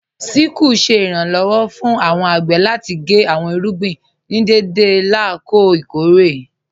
Síkùlù ṣẹ̀ iranlọ́wọ̀ fún awọn agbè láti gé awọn irúgbìn ní dẹdẹ lákọ̀ọ̀ ikọ̀ré.